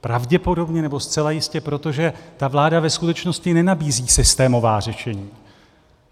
Pravděpodobně, nebo zcela jistě, protože ta vláda ve skutečnosti nenabízí systémová řešení.